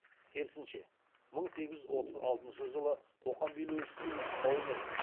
керісінше мың сегіз жүз отыз алтыншы жылы қоқан билеушісінің нұсқауымен